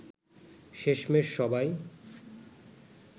শেষমেষ সবাই